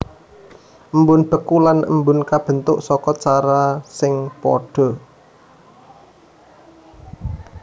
Embun beku lan embun kabentuk saka cara sing padha